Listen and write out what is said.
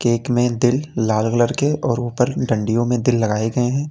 एक में दिल लाल कलर के और ऊपर की डंडियों में दिल लगाए गए हैं।